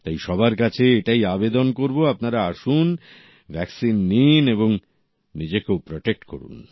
তাই সবার কাছে এটাই আবেদন করব আপনারা আসুন ভ্যাকসিন লাগান এবং নিজেকেও প্রটেক্ট করুন